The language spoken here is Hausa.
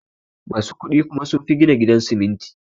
Musu kudi kuma sunfi gina gidan siminti